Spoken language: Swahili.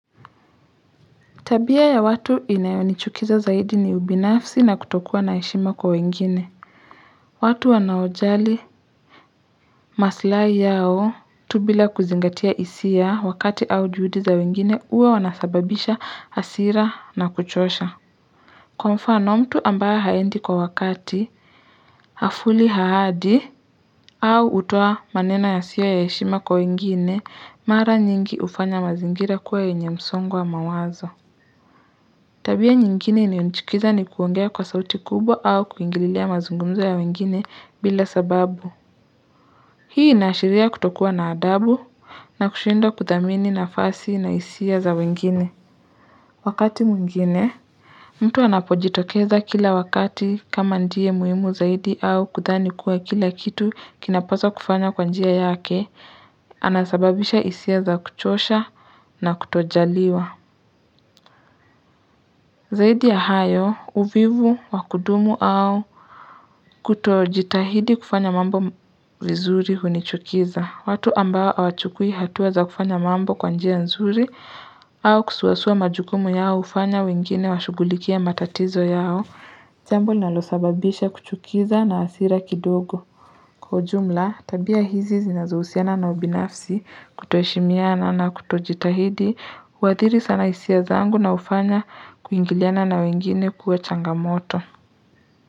Tabia ya watu inayonichukiza zaidi ni ubinafsi na kutokua na heshima kwa wengine. Watu wanaojali masilahi yao tu bila kuzingatia hisia wakati au juhudi za wengine huwa wanasababisha hasira na kuchosha. Kwa mfano mtu ambaye haendi kwa wakati hafuatilii haadi au hutoa maneno yasiyo ya heshima kwa wengine mara nyingi hufanya mazingira kuwe yenye msongo wa mawazo. Tabia nyingine inayonichukiza ni kuongea kwa sauti kubwa au kuingililia mazungumzo ya wengine bila sababu. Hii inaashiria kutokua na adabu na kushindwa kuthamini nafasi na hisia za wengine. Wakati mwingine, mtu anapojitokeza kila wakati kama ndiye muhimu zaidi au kudhani kuwa kila kitu kinapaswa kufanywa kwa njia yake Anasababisha isia za kuchosha na kutojaliwa. Zaidi ya hayo, uvivu wakudumu au kutojitahidi kufanya mambo vizuri hunichukiza. Watu ambao hawachukui hatua za kufanya mambo kwa njia nzuri au kusuasua majukumu yao hufanya wengine washugulikie matatizo yao. Jambo linalosababisha kuchukiza na hasira kidogo. Kwa ujumla, tabia hizi zinazohusiana na ubinafsi kutoheshimiana na kutojitahidi, huathiri sana hisia zangu na hufanya kuingiliana na wengine kuwe changamoto.